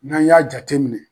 N'an y'a jateminɛ